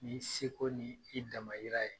N'i seko ni i damayira ye.